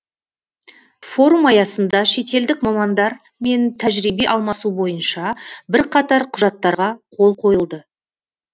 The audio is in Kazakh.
форум аясында шетелдік мамандар мен тәжірибе алмасу бойынша бірқатар құжаттарға қол қойылды